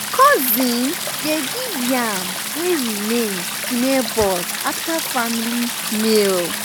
cousin dey give yam wey remain to neighbours after family meal.